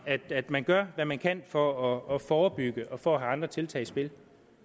at man gør hvad man kan for at forebygge og for at have andre tiltag i spil